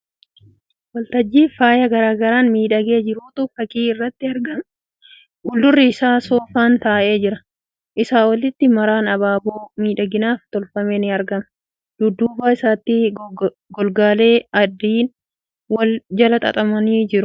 Waltajjii faaya garagaraan miidhagee jirutu fakkii irratti argama. Fuuldura irratti soofaan taa'ee jira. Isaa olitti maraan abaaboo miidhaginaaf tolfame ni argama. Dudduuba isaatti golgaalee adadiin wal jala qaxxaamuranii jiru. Yeroo hedduu cidhaaf akkanatti qophaa'a.